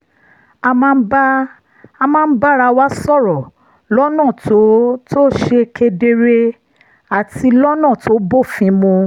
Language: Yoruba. a máa ń bára wa sọ̀rọ̀ lọ́nà tó tó ṣe kedere àti lọ́nà tó bófin mu